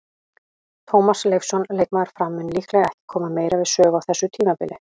Tómas Leifsson, leikmaður Fram, mun líklega ekki koma meira við sögu á þessu tímabili.